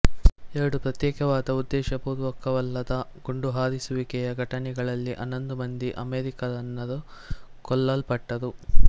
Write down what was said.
ಎರಡು ಪ್ರತ್ಯೇಕವಾದ ಉದ್ದೇಶಪೂರ್ವಕವಲ್ಲದ ಗುಂಡುಹಾರಿಸುವಿಕೆಯ ಘಟನೆಗಳಲ್ಲಿ ಹನ್ನೊಂದು ಮಂದಿ ಅಮೆರಿಕನ್ನರು ಕೊಲ್ಲಲ್ಪಟ್ಟರು